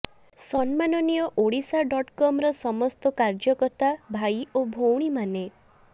ସମ୍ମାନନୀୟ Odisha dot କମ୍ର ସମସ୍ତ କାର୍ଯ୍ୟକର୍ତ୍ତା ଭାଇ ଓ ଭଉଣୀମାନେ